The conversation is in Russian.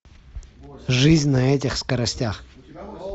жизнь на этих скоростях